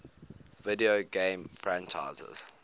video game franchises